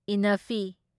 ꯢꯟꯅꯐꯤ